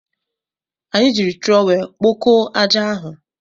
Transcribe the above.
Anyị jiri trọwel kpokọọ aja ahụ.